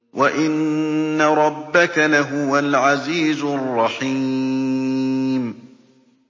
وَإِنَّ رَبَّكَ لَهُوَ الْعَزِيزُ الرَّحِيمُ